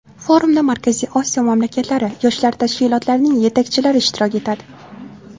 Forumda Markaziy Osiyo mamlakatlari yoshlar tashkilotlarining yetakchilari ishtirok etadi.